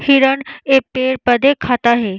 हिरण एक पेड़-पौधे खाता है।